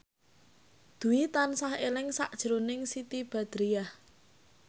Dwi tansah eling sakjroning Siti Badriah